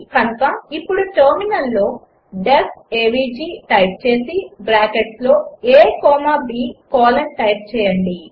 కనుక ఇప్పుడు టెర్మినల్లో డీఇఎఫ్ ఏవీజీ టైప్ చేసి బ్రాకెట్స్లో a comma b colon type చేయండి